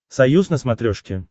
союз на смотрешке